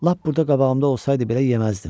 Lap burda qabağımda olsaydı belə yeməzdim.